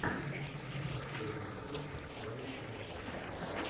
последняя часть лайк настя